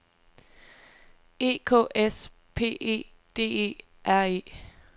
E K S P E D E R E